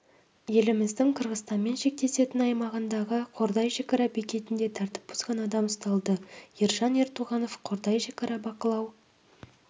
еліміздің қырғызстанмен шектесетін аймағындағы қордай шекара бекетінде тәртіп бұзған адам ұсталды ержан ертуғанов қордай шекара бақылау